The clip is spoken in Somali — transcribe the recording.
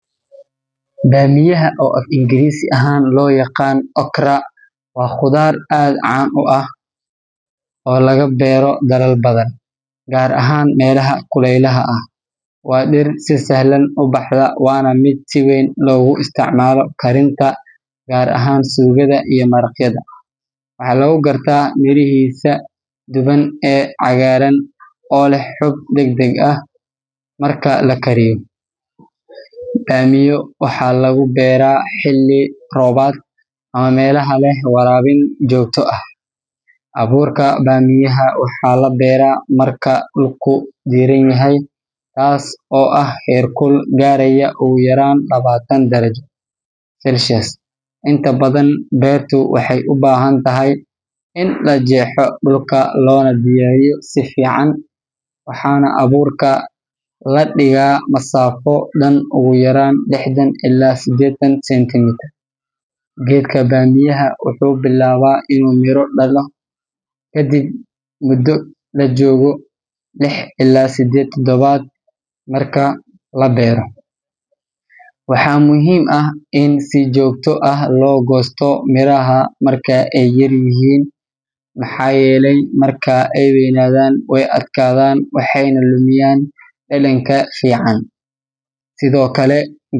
Baamiyaha, oo af-Ingiriisi ahaan loo yaqaan okra, waa khudaar aad caan u ah oo laga beero dalal badan, gaar ahaan meelaha kuleylaha ah. Waa dhir si sahlan u baxda, waana mid si weyn loogu isticmaalo karinta, gaar ahaan suugada iyo maraqyada. Waxaa lagu gartaa mirihiisa dhuuban ee cagaaran oo leh xuub dhegdheg leh marka la kariyo. Baamiya waxaa lagu beeraa xilli roobaadka ama meelaha leh waraabin joogto ah. Abuurka baamiyaha waxaa la beeraa marka dhulku diirran yahay, taas oo ah heerkul gaaraya ugu yaraan labaatan darajo Celsius. Inta badan, beertu waxay u baahan tahay in la jeexo dhulka loona diyaariyo si fiican, waxaana abuurka la dhigaa masaafo dhan ugu yaraan lixdan ilaa sideetan sentimitir. Geedka baamiyaha wuxuu bilaabaa inuu miro dhasho kadib muddo laga joogo lix ilaa sideed toddobaad marka la beero. Waxaa muhiim ah in si joogto ah loo goosto miraha marka ay yaryihiin, maxaa yeelay marka ay weynadaan way adkaadaan waxayna lumiyaan dhadhanka fiican. Sidoo kale.